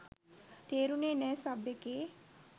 තේරුනේ නෑ! සබ් එකේ